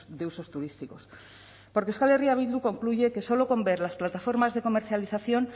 de usos turísticos porque euskal herria bildu concluye que solo con ver las plataformas de comercialización